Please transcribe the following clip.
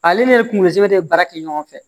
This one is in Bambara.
Ale ni kungozɛbe de ye baara kɛ ɲɔgɔn fɛ